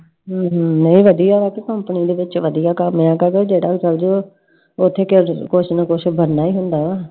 ਹਮ ਉਹ ਵਧੀਆ ਦੇ ਵਿਚ ਵਧੀਆ ਘਰ ਲਿਆ, ਜਿਹੜਾ ਉਹ ਚਲਜੁਗਾ I ਉਹ ਓਥੇ ਕੁਛ ਨਾ ਕੁਛ ਬਣਨਾ ਹੀ ਹੁੰਦਾ ਆ I